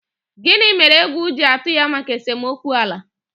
Gini mere egwu ji atụ ya maka esomokwu ala?